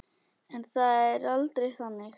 En það er aldrei þannig.